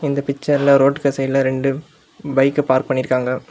இந்த பிச்சர்ல ரோட்டுக்கு சைடுல ரெண்டு பைக் பார்க் பண்ணி இருக்காங்க.